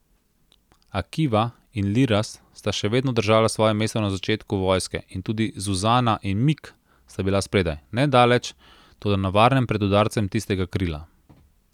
Akiva in Liraz sta še vedno držala svoje mesto na začetku vojske in tudi Zuzana in Mik sta bila spredaj, ne daleč, toda na varnem pred udarcem tistega krila.